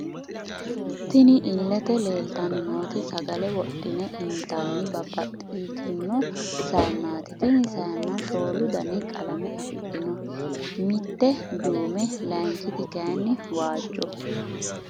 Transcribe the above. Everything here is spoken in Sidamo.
Tinni illete leelitanni nooti sagale wodhine initani babaxitino sayiineti tinni sayiina shoolu Danni qalame afidhino mitte duumo layiinkiti kayiini waajjo.......